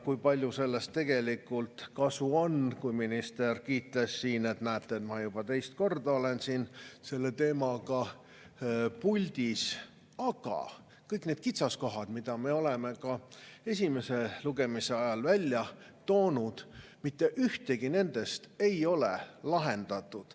Kui palju sellest tegelikult kasu on, kui minister kiitles siin, et, näete, ta on juba teist korda siin selle teemaga puldis, aga mitte ühtegi nendest kitsaskohtadest, mida me oleme ka esimese lugemise ajal välja toonud, ei ole lahendatud.